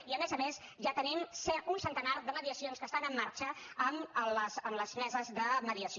i a més a més ja tenim un centenar de mediacions que estan en marxa amb les meses de mediació